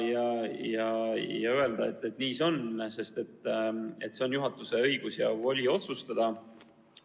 Nii see on – see on juhatuse õigus ja voli otsustada.